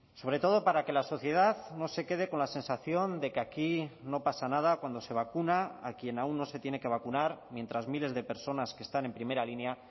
sobre todo para que la sociedad no se quede con la sensación de que aquí no pasa nada cuando se vacuna a quien aún no se tiene que vacunar mientras miles de personas que están en primera línea